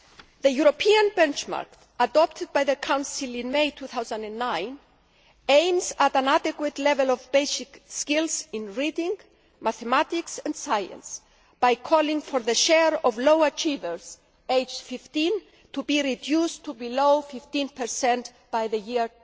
The European benchmark, adopted by the Council in May 2009, aims at an adequate level of basic skills in reading, mathematics and science by calling for the share of low achievers aged 15 to be reduced to below 15 by the year